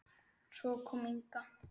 Svo kom Inga.